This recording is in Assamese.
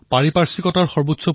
বিশ্বৰ দেশৰ নাম জিলিকি উঠিছে